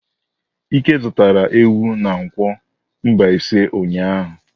Ike zụtara ewu na nkwo Mbaise ụnyahụ.